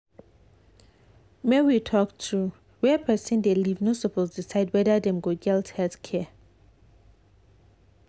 make we talk true where person dey live no suppose decide whether dem go get health care.